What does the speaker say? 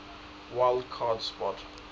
wild card spot